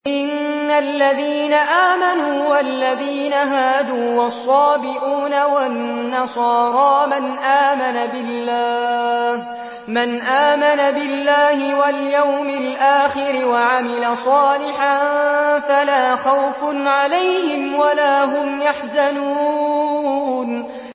إِنَّ الَّذِينَ آمَنُوا وَالَّذِينَ هَادُوا وَالصَّابِئُونَ وَالنَّصَارَىٰ مَنْ آمَنَ بِاللَّهِ وَالْيَوْمِ الْآخِرِ وَعَمِلَ صَالِحًا فَلَا خَوْفٌ عَلَيْهِمْ وَلَا هُمْ يَحْزَنُونَ